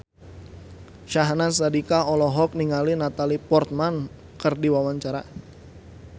Syahnaz Sadiqah olohok ningali Natalie Portman keur diwawancara